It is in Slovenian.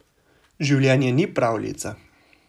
Življenje ni pravljica.